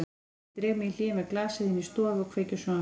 Ég dreg mig í hlé með glasið inn í stofu og kveiki á sjónvarpinu.